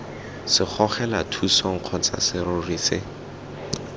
segogelathusong kgotsa serori se se